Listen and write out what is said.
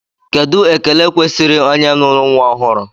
Kedụ ekele kwesịrị onye nụrụ nnwa ọhụrụ?